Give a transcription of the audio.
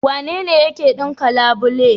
Wanene yake ɗinka labule?